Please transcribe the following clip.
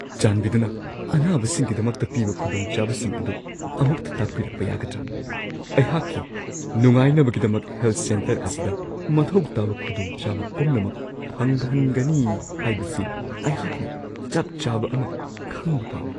ꯆꯥꯟꯕꯤꯗꯨꯅ ꯑꯅꯥꯕꯁꯤꯡꯒꯤꯗꯃꯛꯇ ꯄꯤꯕ ꯈꯨꯗꯣꯡꯆꯥꯕꯁꯤꯡ ꯑꯗꯨ ꯑꯃꯨꯛꯇ ꯇꯥꯛꯄꯤꯔꯛꯄ ꯌꯥꯒꯗ꯭ꯔꯥ? ꯑꯩꯍꯥꯛꯀꯤ ꯅꯨꯡꯉꯥꯏꯅꯕꯒꯤꯗꯃꯛ ꯍꯦꯜꯊ ꯁꯦꯟꯇꯔ ꯑꯁꯤꯗ ꯃꯊꯧ ꯇꯥꯕ ꯈꯨꯗꯣꯡꯆꯥꯕ ꯄꯨꯝꯅꯃꯛ ꯐꯪꯍꯟꯒꯅꯤ ꯍꯥꯏꯕꯁꯤ ꯑꯩꯍꯥꯛꯅ ꯆꯞ ꯆꯥꯕ ꯑꯃ ꯈꯪꯕ ꯄꯥꯝꯃꯤ ꯫